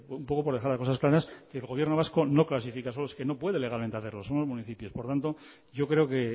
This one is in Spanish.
un poco por dejar las cosas claras que el gobierno vasco no clasifica es que no puede legalmente hacerlo solo los municipios por tanto yo creo que